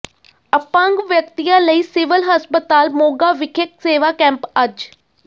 ਅਪੰਗ ਵਿਅਕਤੀਆਂ ਲਈ ਸਿਵਲ ਹਸਪਤਾਲ ਮੋਗਾ ਵਿਖੇ ਸੇਵਾ ਕੈਂਪ ਅੱਜ